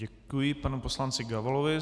Děkuji panu poslanci Gabalovi.